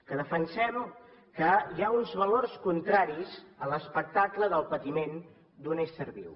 que defensem que hi ha uns valors contraris a l’espectacle del patiment d’un ésser viu